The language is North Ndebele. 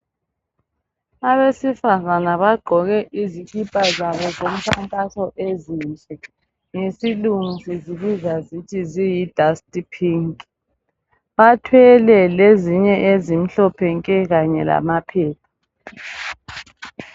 Abesifazana bagqoke izikipa zabo zomkhankaso ezinhle. Ngesilungu sizibiza sithi ziyi"dust-pink".Bathwele lezinye ezimhlophe nke kanye lamaphepha.